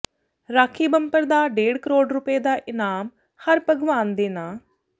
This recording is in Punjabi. ਰਾਖੀ ਬੰਪਰ ਦਾ ਡੇਢ ਕਰੋੜ ਰੁਪਏ ਦਾ ਇਨਾਮ ਹਰਭਗਵਾਨ ਦੇ ਨਾਂ